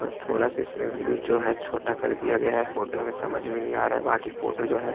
बस थोड़ा सा इसमें व्यूज जो है छोटा कर दिया गया है फोटो में समझ में नहीं आ रहा हैं बाकि फोटो जो है।